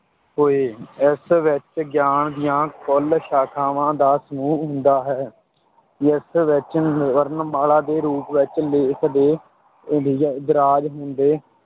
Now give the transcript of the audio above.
ਹੋਏ, ਇਸ ਵਿੱਚ ਗਿਆਨ ਦੀਆਂ ਕੁੱਲ ਸ਼ਾਖਾਵਾਂ ਦਾ ਸਮੂਹ ਹੁੰਦਾ ਹੈ, ਇਸ ਵਿੱਚ ਵਰਨਮਾਲਾ ਦੇ ਰੂਪ ਵਿੱਚ ਲੇਖ ਤੇ ਇੰਦ~ ਇੰਦਰਾਜ਼ ਹੁੰਦੇ